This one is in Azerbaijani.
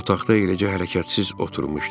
Otaqda eləcə hərəkətsiz oturmuşdu.